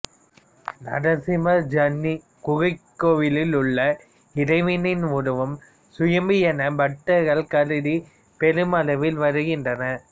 நரசிம்மர் ஜர்னி குகைக் கோவிலில் உள்ள இறைவனின் உருவம் சுயம்பு என பக்தர்கள் கருதி பெருமளவில் வருகின்றனர்